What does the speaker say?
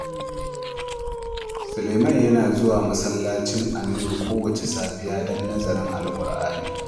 Sulaiman yana zuwa masallacin Al-Nur kowacce safiya don nazarin Alƙur’ani.